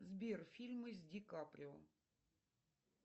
сбер фильмы с ди каприо